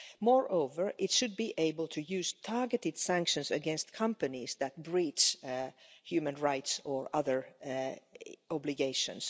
Moreover, it should be able to use targeted sanctions against companies that breach human rights or other obligations.